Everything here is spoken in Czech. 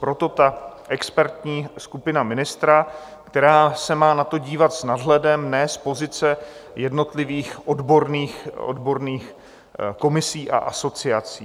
Proto ta expertní skupina ministra, která se má na to dívat s nadhledem, ne z pozice jednotlivých odborných komisí a asociací.